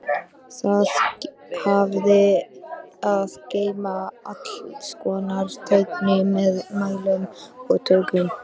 Það hafði að geyma allskonar tæki með mælum og tökkum.